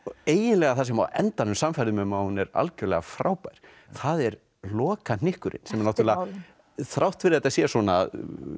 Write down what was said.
eiginlega það sem á endanum sannfærði mig að hún er algjörlega frábær það er lokahnykkurinn þrátt fyrir að þetta sé svona